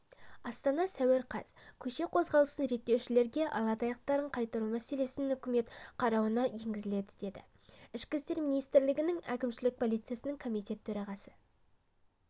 астана сәуір қаз қөше қозғалысын реттеушілерге ала таяқтарын қайтару мәселесін үкімет қарауына енгізіледі деді ішкі істер министрлігінің әкімшілік полициясының комитет төрағасы